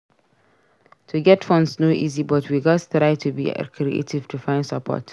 To get funds no easy but we gats try to be creative to find support.